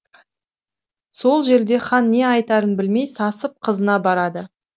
сол жерде хан не айтарын білмей сасып қызына барады